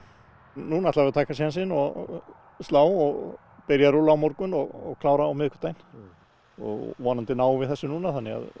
núna ætla ég að taka sjensinn og slá og byrja að rúlla á morgun og klára á miðvikudaginn og vonandi náum við þessu núna þannig að